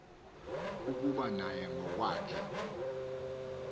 ukuba naye ngokwakhe